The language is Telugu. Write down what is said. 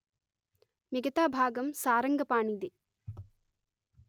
మిగతా భాగం సారంగపాణిది